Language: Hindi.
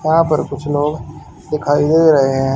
वहां पर कुछ लोग दिखाई दे रहे हैं।